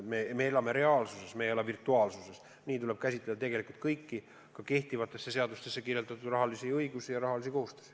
Me elame reaalsuses, me ei ela virtuaalsuses, ja sellest lähtudes tuleb käsitleda tegelikult kõiki, ka kehtivatesse seadustesse kirjutatud õigusi ja rahalisi kohustusi.